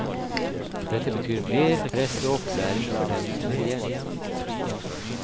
Dette betyr mer press og opplæring for dem som er igjen.